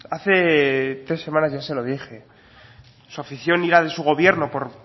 hace tres semanas ya se lo dije su afición y la de su gobierno por